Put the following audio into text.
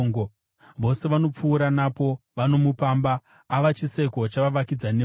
Vose vanopfuura napo vanomupamba; ava chiseko chavavakidzani vake.